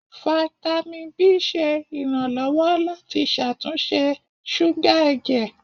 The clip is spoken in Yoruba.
Fáítámì B ṣe ìrànlọ́wọ́ láti ṣàtúnṣe súgà ẹ̀jẹ̀.